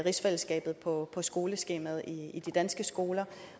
rigsfællesskabet på skoleskemaet i de danske skoler